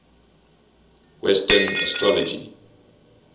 western astrology